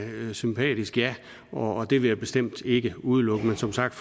det er sympatisk ja og det vil jeg bestemt ikke udelukke men som sagt